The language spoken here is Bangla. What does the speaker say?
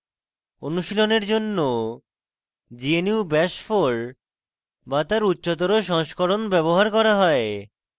অনুশীলনের জন্য gnu bash 4 bash তার উচ্চতর সংস্করণ ব্যবহার করা হয়